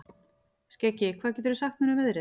Skeggi, hvað geturðu sagt mér um veðrið?